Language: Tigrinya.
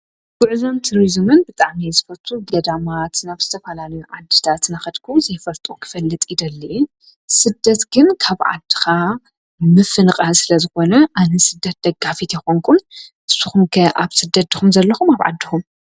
ብዕዞም ቱርዙምን ብጣመይዝፈርቱ ገዳማ ትናፍስተ ፍላል ዓድዳ ትናኸድኩ ዘይፈልጦ ኽፈልጥ ይደልየ። ስደት ግን ካብዓድኻ ምፍንቓ ስለ ዝኾነ ኣነ ስደት ደጋፊት የኾንኩን ሱኹምከ ኣብ ስደት ድኹም ዘለኹም ኣብዓድኹም?